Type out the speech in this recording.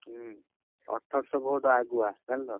ଉଁ, ଅଠରଶ vote ଆଗୁଆ ଜାଣିଲ।